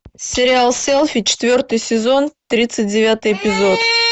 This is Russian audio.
сериал селфи четвертый сезон тридцать девятый эпизод